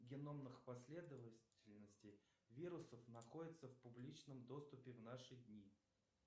геномных последовательностей вирусов находится в публичном доступе в наши дни